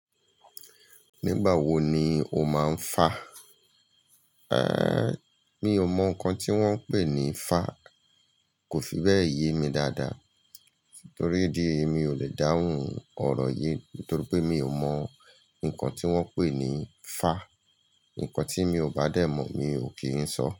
Nígbà wo ni o máa ń fá? Eh, mi ò mọ nǹkan tí wọ́n ń pè ní fá, kò fi bẹ́ẹ̀ yé mi dáadáa. Torí idi ẹyi mi ò lè dáhùn ọ̀rọ̀ yí, torí pé mi ò mọ nǹkan tí wọ́n ń pè ní fá. Nǹkan tí mi ò bá dẹ̀ mọ̀ mi ò kí ń sọ.